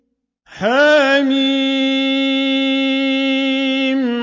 حم